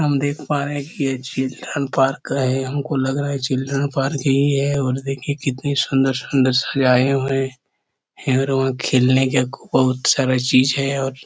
हम देख पा रहे है की ये चिल्ड्रन पार्क है हम को लग रहा है चिल्ड्रन पार्क ही है और देखिये कितनी सुंदर-सुंदर सजाये हुए और खेलने के बहुत सारा चीज है और --